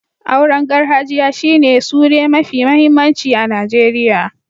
Auren garhajiya shi ne sure mafi mahimmanci a Nijeriya.